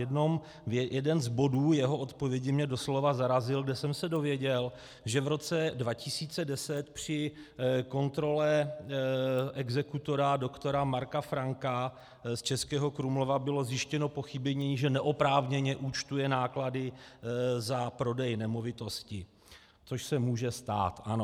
Jeden z bodů jeho odpovědi mě doslova zarazil, kde jsem se dověděl, že v roce 2010 při kontrole exekutora doktora Marka Franka z Českého Krumlova bylo zjištěno pochybení, že neoprávněně účtuje náklady za prodej nemovitosti, což se může stát, ano.